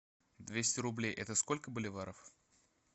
двести рублей это сколько боливаров